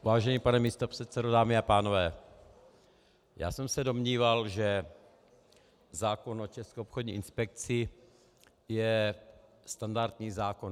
Vážený pane místopředsedo, dámy a pánové, já jsem se domníval, že zákon o České obchodní inspekci je standardní zákon.